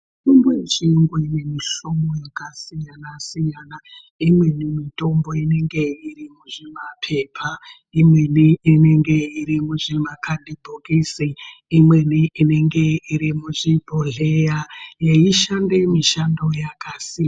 Mitombo yechiyungu inemihlobo yakasiyana-siyana, imweni mitombo inenge iri muzvimaphepa, imweni inenge iri nuzvimakhadhibhokisi. Imweni inenge iri muzvibhodhlera yeishande mishando yakasiyana.